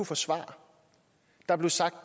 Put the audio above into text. få svar der blev sagt